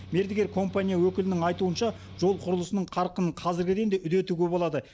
мердігер компания өкілінің айтуынша жол құрылысының қарқынын қазіргіден де үдетуге болады